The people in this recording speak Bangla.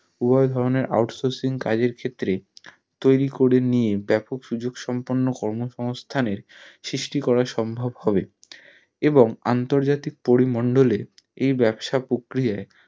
উভয় ধরণের out sourcing কাজের ক্ষেত্রে তৈরী করে নিয়ে ব্যাপক সুযোগ সম্পন্ন কর্ম সংস্থানের সৃষ্টি করা সম্ভব হবে এবং আন্তর্জাতিক পড়ি মন্ডলে এই ব্যবসা প্রক্রিয়ায়